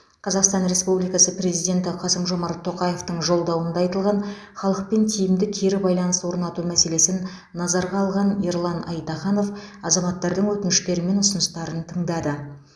қазақстан республикасы президенті қасым жомарт тоқаевтың жолдауында айтылған халықпен тиімді кері байланыс орнату мәселесін назарға алған ерлан айтаханов азаматтардың өтініштері мен ұсыныстарын тыңдады